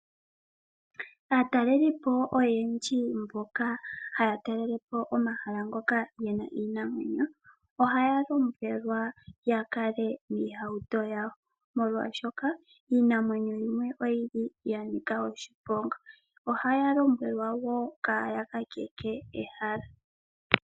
Aatalelipo oyendji mboka haya talelepo omahala ngoka gena iinamwenyo, ohaya lombwelwa ya kale miihauto yowo molwaashoka , iinamwenyo yimwe oyili ya nika oshiponga. Ohaya lombwelwa woo kaaya kakeke ehala .